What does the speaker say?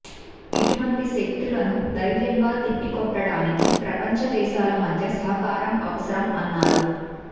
ఇటువంటి శక్తులను ధైర్యంగా తిప్పికొట్టడానికి ప్రపంచ దేశాల మధ్య సహకారం అవసరం అన్నారు